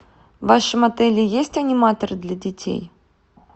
в вашем отеле есть аниматоры для детей